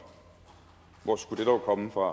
hvor skulle det dog komme fra